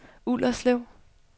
Ullerslev